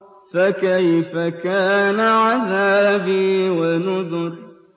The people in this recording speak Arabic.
فَكَيْفَ كَانَ عَذَابِي وَنُذُرِ